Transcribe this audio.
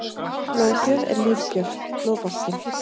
Blóðgjöf er lífgjöf- Blóðbankinn.